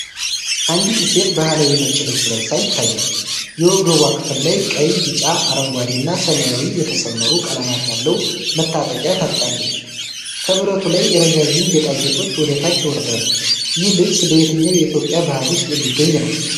አንዲት ሴት ባሕላዊ ነጭ ልብስ ለብሳ ይታያል፤ የወገቧ ክፍል ላይ ቀይ፣ ቢጫ፣ አረንጓዴ እና ሰማያዊ የተሰመሩ ቀለማት ያለው መታጠቂያ ታጥቃለች። ከብረቱ ላይ ረዣዥም ጌጣጌጦች ወደታች ይወርዳሉ። ይህ ልብስ በየትኛው የኢትዮጵያ ባህል ውስጥ የሚገኝ ነው?